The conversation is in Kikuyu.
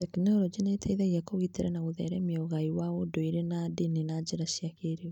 Tekinoronjĩ nĩ ĩteithagia kũgitĩra na gũtheremia ũgai wa ũndũire na ndini na njĩra cia kĩĩrĩu.